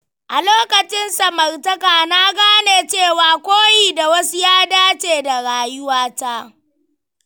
A lokacin samartaka, na gane cewa koyi da wasu ya dace da rayuwata.